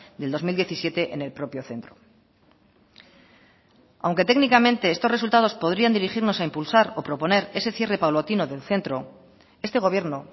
del dos mil diecisiete en el propio centro aunque técnicamente estos resultados podrían dirigirnos a impulsar o proponer ese cierre paulatino del centro este gobierno